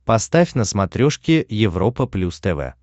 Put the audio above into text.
поставь на смотрешке европа плюс тв